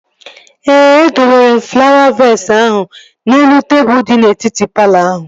Ee, e dowere m flawa vees ahụ n'elu tebụl di n'etiti palọ ahụ